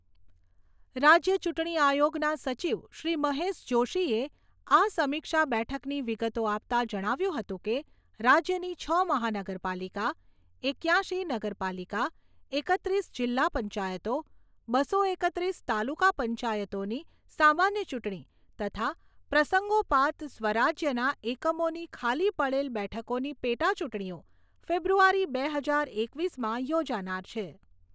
રાજ્ય ચૂંટણી આયોગના સચિવ શ્રી મહેશ જોષીએ આ સમીક્ષા બેઠકની વિગતો આપતાં જણાવ્યું હતું કે, રાજ્યની છ મહાનગરપાલિકા, એક્યાશી નગરપાલિકા, એકત્રીસ જિલ્લા પંચાયતો, બસો એકત્રીસ તાલુકા પંચાયતોની સામાન્ય ચૂંટણી તથા પ્રસંગોપાત સ્વરાજ્યના એકમોની ખાલી પડેલ બેઠકોની પેટાચૂંટણીઓ ફેબ્રુઆરી બે હજાર એકવીસમાં યોજાનાર છે.